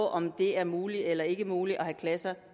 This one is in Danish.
af om det er muligt eller ikke muligt at have klasser